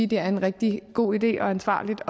det er en rigtig god idé og ansvarligt